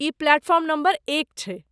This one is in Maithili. ई प्लेटफॉर्म नम्बर एक छै।